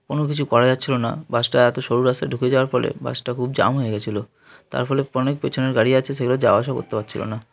কোন কিছু করা যাচ্ছিল না বাস -টা এত সরু রাস্তা ঢুকে যাওয়ার ফলে বাস -টা খুব জ্যাম হয়ে গেছিল । তার ফলে অনেক পেছনের গাড়ি আছে সে গুলা যাওয়া আশা করতে পারছিল না।